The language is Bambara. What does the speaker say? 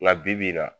Nka bibi in na